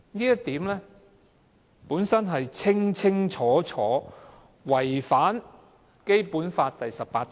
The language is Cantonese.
因此，《條例草案》顯然違反《基本法》第十八條。